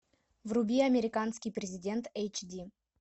вруби американский президент эйч ди